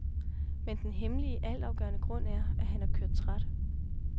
Men den hemmelige, altafgørende grund er, at han er kørt træt.